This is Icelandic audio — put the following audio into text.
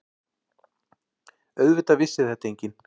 Auðvitað vissi þetta enginn.